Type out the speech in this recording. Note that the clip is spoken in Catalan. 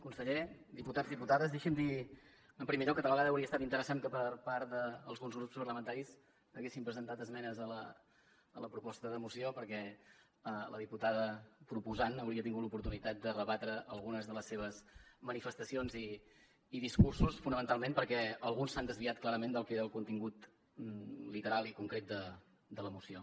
conseller diputats i diputades deixin me dir en primer lloc que tal vegada hauria estat interessant que per part d’alguns grups parlamentaris haguessin presentat esmenes a la proposta de moció perquè la diputada proposant hauria tingut l’oportunitat de rebatre algunes de les seves manifestacions i discursos fonamentalment perquè alguns s’han desviat clarament del que era el contingut literal i concret de la moció